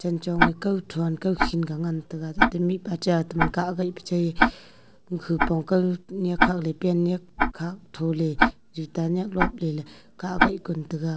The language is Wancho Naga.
janchong e kao thon kao shing ka ngan taga tata mihpa cha taman kah gah peche hupong kao nyak hale pant nyak khak tho le juta nyak luak lele ka gah ngan taga.